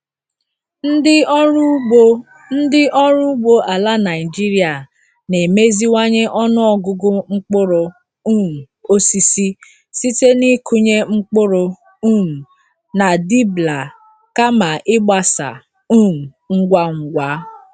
Ndị ọrụ ugbo Ndị ọrụ ugbo ala Naijiria na-emeziwanye ọnụ ọgụgụ mkpụrụ um osisi site n'ịkụnye mkpụrụ um na dibbler kama ịgbasa um ngwa ngwa.